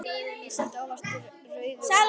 Sletti óvart rauðu ofan á tærnar.